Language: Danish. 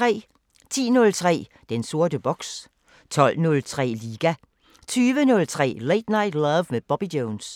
10:03: Den sorte boks 12:03: Liga 20:03: Late Night Love med Bobby Jones 22:03: Tværs 23:03: På Bagsædet – med Hav & Kamal